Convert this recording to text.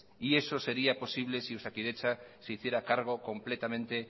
y eso sería posible si osakidetza se hiciera cargo completamente